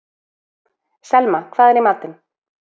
Selma, hvað er í matinn?